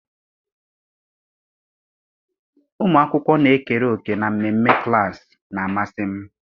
Ụmụ akwụkwọ na-ekere òkè na mmemme klaasị na-amasị m.